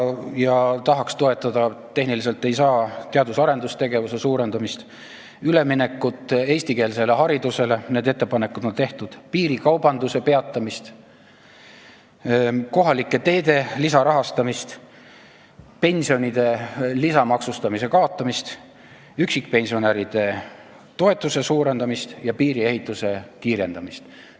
Me tahaks toetada, aga tehniliselt ei saa, teadus-arendustegevuse finantseerimise suurendamist, üleminekut eestikeelsele haridusele – need ettepanekud on tehtud –, samuti piirikaubanduse peatamist, kohalike teede lisarahastamist, pensionide lisamaksustamise kaotamist, üksikpensionäride toetuse suurendamist ja piiriehituse kiirendamist.